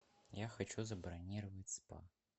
я хочу забронировать спа